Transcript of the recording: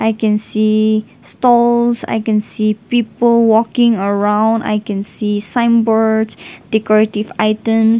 we can see stalls i can see people walking around i can see signboards decorative items.